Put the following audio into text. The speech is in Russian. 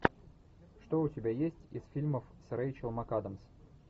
что у тебя есть из фильмов с рэйчел макадамс